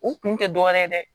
U kun tɛ dɔ wɛrɛ ye dɛ